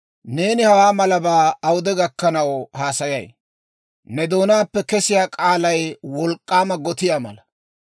«Neeni hawaa malabaa awude gakkanaw haasayay? Ne doonaappe kesiyaa k'aalay wolk'k'aama gotiyaa mala.